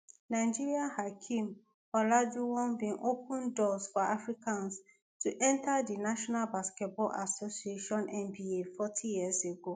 nigeria hakeem olajuwon bin open doors for africans to enta di national basketball association nba forty years ago